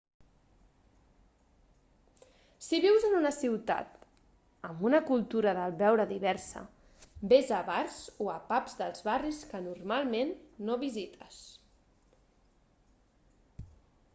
si vius en una ciutat amb una cultura del beure diversa vés a bars o a pubs dels barris que normalment no visites